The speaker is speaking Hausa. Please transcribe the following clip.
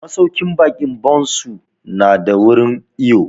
Masauƙin baƙi Bon su na da wurin iwo